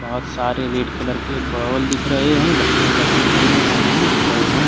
बहोत सारे red colour के बाल दिख रहे हैंबच्चों के खेलने का सामान दिख रहे हैं।